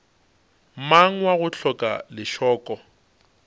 mang wa go hloka lešoko